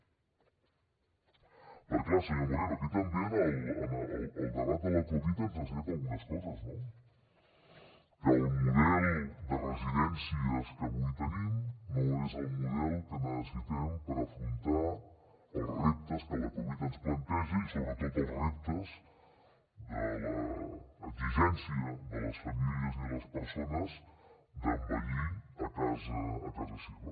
perquè clar senyor moreno aquí també el debat de la covid ens ha ensenyat algunes coses no que el model de residències que avui tenim no és el model que necessitem per afrontar els reptes que la covid ens planteja i sobretot els reptes de l’exigència de les famílies i de les persones d’envellir a casa seva